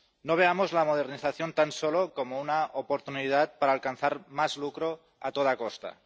No veamos la modernización tan solo como una oportunidad para alcanzar más lucro a toda costa.